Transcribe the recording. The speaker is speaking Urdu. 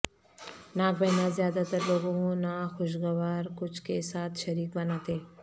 ناک بہنا زیادہ تر لوگوں ناخوشگوار کچھ کے ساتھ شریک بناتے